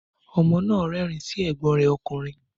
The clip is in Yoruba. Ọmọ nà rẹrin sí ẹgbón rẹ òkúnrín.